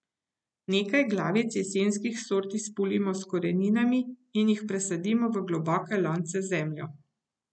Nekaj glavic jesenskih sort izpulimo s koreninami in jih presadimo v globoke lonce z zemljo.